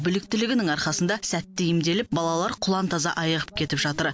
біліктілігінің арқасында сәтті емделіп балалар құлантаза айығып кетіп жатыр